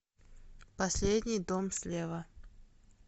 последний дом слева